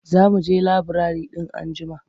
Za mu je laburare in anjima.